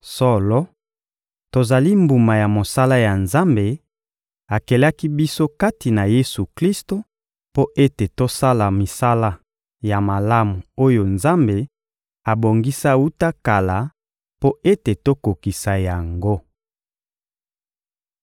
Solo, tozali mbuma ya mosala ya Nzambe: Akelaki biso kati na Yesu-Klisto mpo ete tosala misala ya malamu oyo Nzambe abongisa wuta kala mpo ete tokokisa yango.